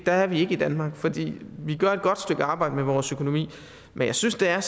der er vi ikke i danmark for vi gør et godt stykke arbejde med vores økonomi men jeg synes der